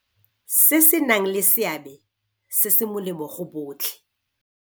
Se se nang le seabe se se molemo go botlhe.